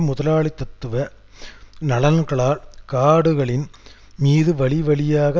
முதலாளித்தத்துவ நலன்களால் காடுகளின் மீது வழிவழியாக